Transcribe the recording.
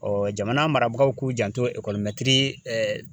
jamana marabagaw k'u janto .